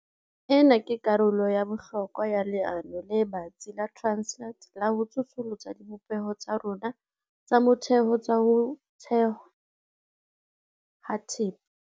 Ena ke karolo ya bohlokwa ya leano le batsi la Transnet la ho tsosolosa dibopeho tsa rona tsa motheo tsa ho thothwa ha thepa.